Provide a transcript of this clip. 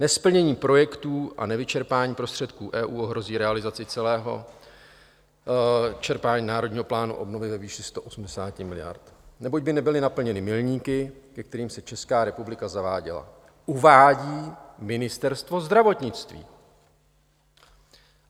Nesplnění projektů a nevyčerpání prostředků EU ohrozí realizaci celého čerpání Národního plánu obnovy ve výši 180 miliard, neboť by nebyly naplněny milníky, ke kterým se Česká republika zavázala, uvádí Ministerstvo zdravotnictví.